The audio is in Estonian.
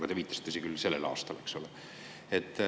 Te viitasite küll sellele aastale.